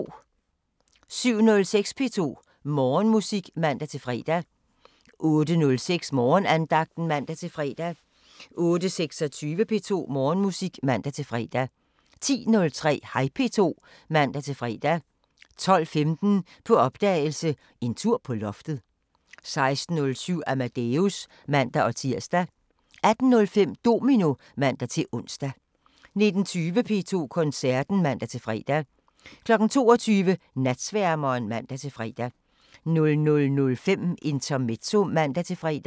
07:06: P2 Morgenmusik (man-fre) 08:06: Morgenandagten (man-fre) 08:26: P2 Morgenmusik (man-fre) 10:03: Hej P2 (man-fre) 12:15: På opdagelse – En tur på loftet 16:07: Amadeus (man-tir) 18:05: Domino (man-ons) 19:20: P2 Koncerten (man-fre) 22:00: Natsværmeren (man-fre) 00:05: Intermezzo (man-fre)